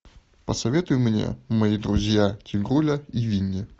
посоветуй мне мои друзья тигруля и винни